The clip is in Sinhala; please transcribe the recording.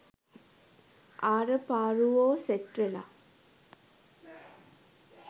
ආර පාරුවො සෙට් වෙලා